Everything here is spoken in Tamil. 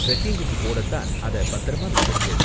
டிரெக்கிங்குக்கு போட தான் அத பத்திரமா வச்சிருந்தேன்.